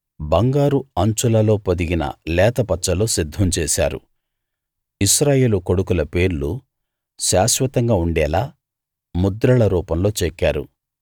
బంగారు అంచులలో పొదిగిన లేత పచ్చలు సిద్ధం చేశారు ఇశ్రాయేలు కొడుకుల పేర్లు శాశ్వతంగా ఉండేలా ముద్రల రూపంలో చెక్కారు